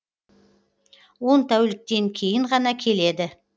он тәуліктен кейін ғана келеді